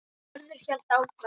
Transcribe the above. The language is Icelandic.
Hörður hélt áfram